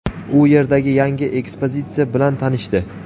u yerdagi yangi ekspozitsiya bilan tanishdi.